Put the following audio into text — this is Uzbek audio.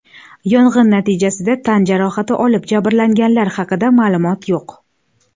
Yong‘in natijasida tan jarohati olib, jabrlanganlar haqida ma’lumot yo‘q.